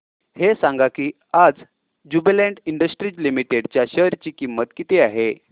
हे सांगा की आज ज्युबीलेंट इंडस्ट्रीज लिमिटेड च्या शेअर ची किंमत किती आहे